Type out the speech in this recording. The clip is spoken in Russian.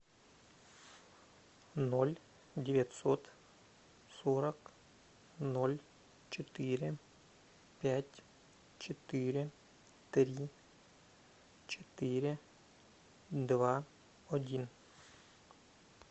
ноль девятьсот сорок ноль четыре пять четыре три четыре два один